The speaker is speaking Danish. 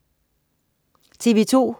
TV2: